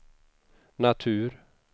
natur